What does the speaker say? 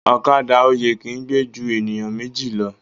Ọ̀kadà oyè ki gbe jù eniyan Méjì ló